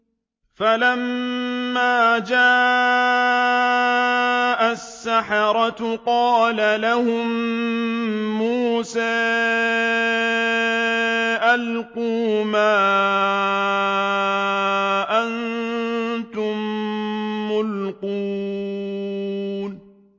فَلَمَّا جَاءَ السَّحَرَةُ قَالَ لَهُم مُّوسَىٰ أَلْقُوا مَا أَنتُم مُّلْقُونَ